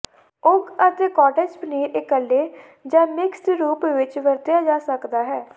ਉਗ ਅਤੇ ਕਾਟੇਜ ਪਨੀਰ ਇਕੱਲੇ ਜ ਮਿਕਸਡ ਰੂਪ ਵਿੱਚ ਵਰਤਿਆ ਜਾ ਸਕਦਾ ਹੈ